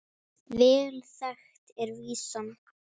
Vel þekkt er vísan